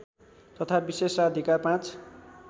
तथा विशेषाधिकार ५